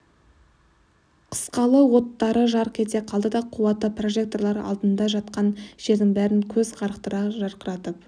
қысқалы оттары жарқ ете қалды да қуатты прожекторлар алдында жатқан жердің бәрін көз қарықтыра жарқыратып